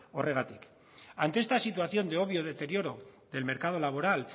horregatik ante esta situación de obvio deterioro del mercado laboral